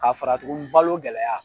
K'a fara tuguni balo gɛlɛya